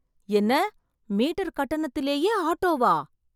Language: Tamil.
என்ன மீட்டர் கட்டணத்திலேயே ஆட்டோவா?